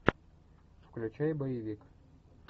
включай боевик